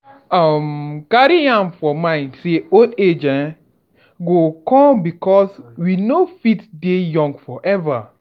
um carry am for mind sey old age um go come because we no fit young forever